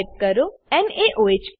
type કરો નાઓહ